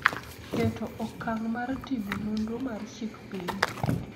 keto okang� mar timo nonro mar chik piny.